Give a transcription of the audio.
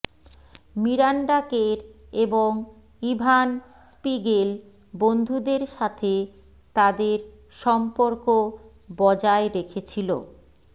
Miranda Kerr এবং Evan Spiegel বন্ধুদের সাথে তাদের সম্পর্ক বজায় রেখেছিল